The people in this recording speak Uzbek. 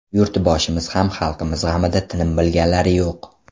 Yurtboshimiz ham xalqimiz g‘amida tinim bilganlari yo‘q.